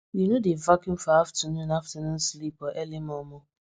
we no dey vacuum for afternoon afternoon sleep or early momo